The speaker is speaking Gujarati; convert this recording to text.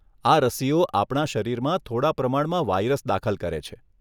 આ રસીઓ આપણા શરીરમાં થોડા પ્રમાણમાં વાઇરસ દાખલ કરે છે.